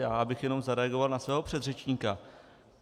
Já bych jenom zareagoval na svého předřečníka.